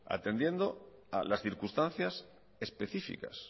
atendiendo a las circunstancias específicas